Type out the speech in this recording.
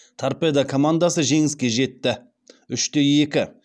торпедо командасы жеңіске жетті үште екі